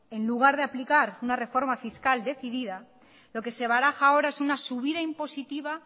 en lugar de aplicar una reforma fiscal decidida lo que se baraja ahora es una subida impositiva